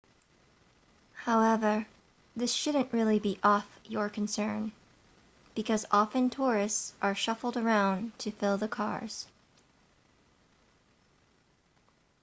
however this shouldn't really be off your concern because often tourists are shuffled around to fill the cars